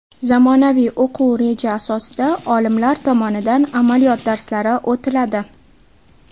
Zamonaviy o‘quv reja asosida olimlar tomonidan amaliyot darslari o‘tiladi.